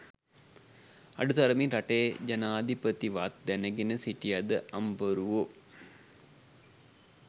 අඩු තරමින් රටේ ජනාදිපති වත් දැනගෙන හිටියද අම්බරුවෝ?